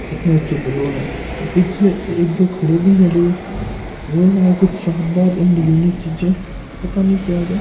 कितने अच्चो बलून है और पीछे एक दो खड़े भी है देखो वोह है कुछ शानदार एंड यूनिक चीजे पता नही क्या होरि या।